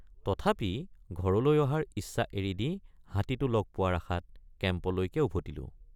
তথাপি ঘৰলৈ অহাৰ ইচ্ছা এৰি দি হাতীটো লগ পোৱাৰ আশাত কেম্পলৈয়ে উভতিলোঁ।